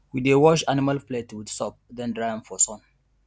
we dey wash animal plate with soap then dry am for sun